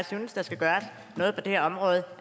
synes der skal gøres noget på det her område